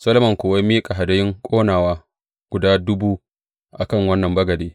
Solomon kuwa ya miƙa hadayun ƙonawa guda dubu a kan wannan bagade.